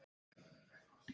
Upp að vissu marki.